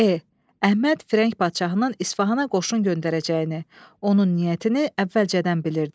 E. Əhməd Fəhrəq padşahının İsfahana qoşun göndərəcəyini, onun niyyətini əvvəlcədən bilirdi.